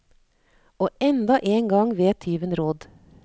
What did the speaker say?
Og enda en gang vet tyven råd.